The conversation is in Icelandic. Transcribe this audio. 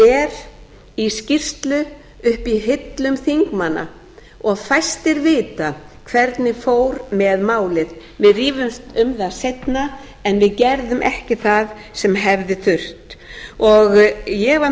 það er í skýrslu uppi í hillum þingmanna og fæstir vita hvernig fór með málið við rífumst um það seinna en við gerðum ekki það sem hefði þurft ég var